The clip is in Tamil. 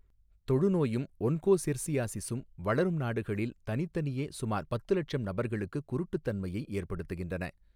தொழுநோயும் ஒன்கோசெர்சியாசிஸும் வளரும் நாடுகளில் தனித்தனியே சுமார் பத்து லட்சம் நபர்களுக்குக் குருட்டுத்தன்மையை ஏற்படுத்துகின்றன.